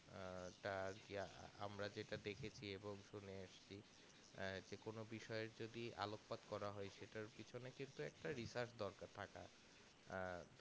আহ তার আমরা যেটা দেখেছি এবং শুনে এসেছি আহ যে কোনো বিষয়ের যদি আলোকপাত করা হয় সেটার পেছনে কিন্তু একটা research দরকার থাকা আহ